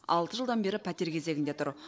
алты жылдан бері пәтер кезегінде тұр